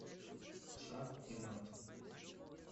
шах и мат